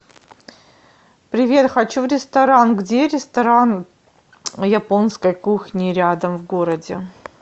привет хочу в ресторан где ресторан японской кухни рядом в городе